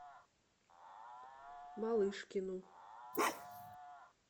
малышкину